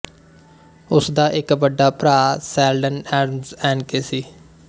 ਉਸਦਾ ਇੱਕ ਵੱਡਾ ਭਰਾ ਸ਼ੈਲਡਨ ਐਡਮਜ਼ ਏਨਕੇ ਸੀ